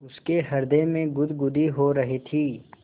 उसके हृदय में गुदगुदी हो रही थी